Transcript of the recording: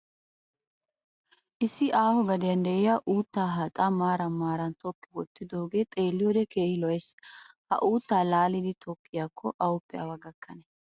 Issi aaho gadiyan diya uuttaa haaxaa maaran maaran tokki wottidoogee xeelliyode keehi lo'es. Ha uuttaa laalidi tokkiyaakko awuppe awa gakkane?